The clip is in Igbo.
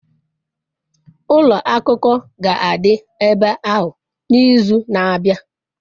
ulo akuko ga-adi ebe ahu n'izu na-abia